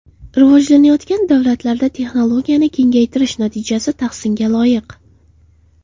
Rivojlanayotgan davlatlarda texnologiyani kengaytirish natijasi tahsinga loyiq.